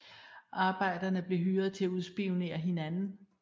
Arbejderne blev hyret til at udspionere hinanden